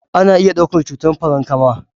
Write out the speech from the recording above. Ana iya ɗaukar cutar Farankama